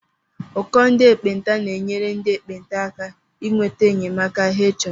Ụkọ ndị ekpenta na-enyere ndị ekpenta aka inweta enyemaka hé chọrọ.